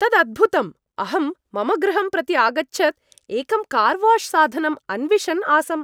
तत् अद्भुतम् अहं मम गृहं प्रति आगच्छत् एकं कार् वाश् साधनम् अन्विषन् आसम्।